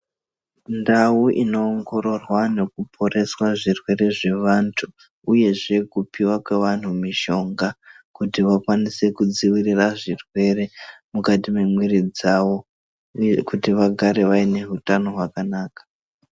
Ndau inoongororwa nekuporesa zvirwere zvavantu, uyezve kutiva kwevantu mushonga kuti vakanise kudzivirira zvirwere mukati memwiri dzavo, uye kuti vagare vaine huta hwakanaka.